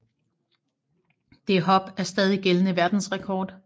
Det hop er stadig gældende verdensrekord